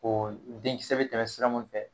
O denkisɛ be bɛ tɛmɛ sira mun fɛ